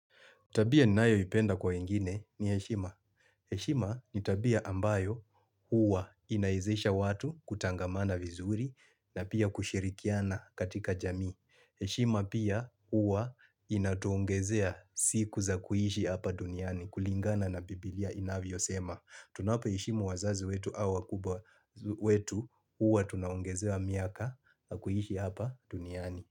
Tabia ni nayo ipenda kwa wengine ni eshima. Eshima ni tabia ambayo huwa inaizisha watu kutangamana vizuri na pia kushirikiana katika jamii. Eshima pia huwa inatuongezea siku za kuhishi hapa duniani kulingana na biblia inavyo sema. Tunawapa eshimu wazazi wetu au wakubwa wetu huwa tunaongezewa miaka na kuhishi hapa duniani.